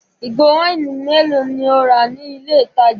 Ìgò wáìnì mélòó ni o rà ní ilé-ìtajà?